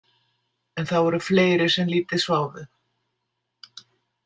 En það voru fleiri sem lítið sváfu.